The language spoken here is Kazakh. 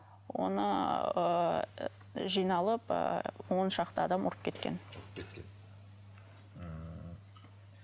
оны ыыы жиналып ыыы он шақты адам ұрып кеткен ммм